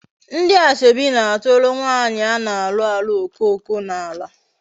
Ndi asoebi na-aturu nwaanyi a na-alu alu okoko n'ala